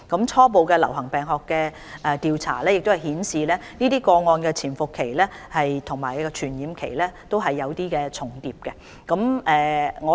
初步的流行病學的調查亦顯示這些個案的潛伏期和傳染期也有些重疊。